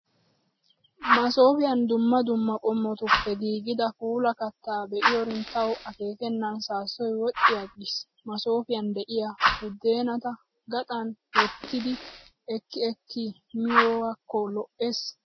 Masoofiyan dumma dumma qommotuppe giigida puula katta be'iyoorin tawu akeekennan saassoyi wodhdhi aggis. Masoofiyan de'iyaa buddeenata gaxan wottidi ekki ekki miyaakko lo''ees.